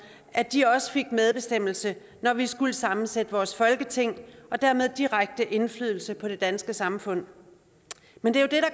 at de også fik medbestemmelse når vi skulle sammensætte vores folketing og dermed direkte indflydelse på det danske samfund men det